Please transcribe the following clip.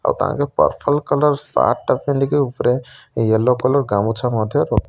ଆଉ ତାଙ୍କ purple colour shirt ଟା ପିନ୍ଧି କି ଉପରେ ୟେଲ୍ଲୋ କଲର୍ ଗାମୁଛା ମଧ୍ୟ ପ --